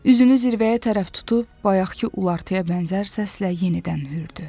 Üzünü zirvəyə tərəf tutub bayaqkı ulartıya bənzər səslə yenidən hürdü.